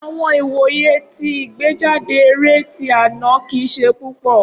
Awọn iwoye ti igbejade eré ti ana kii ṣe pupọ.